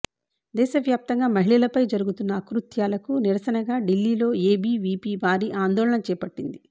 దేశ వ్యాప్తంగా మహిళలపై జరుగుతున్న ఆకృత్యాలకు నిరసనగా ఢిల్లీలో ఏబీవీపీ భారీ ఆందోళన చేపట్టింది